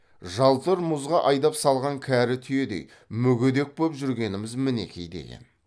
жалтыр мұзға айдап салған кәрі түйедей мүгедек боп жүргеніміз мінеки деген